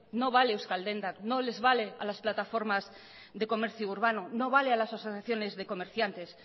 no vale a euskal dendak no les vale a las plataformas de comercio urbano no vale a las asociaciones de comerciantes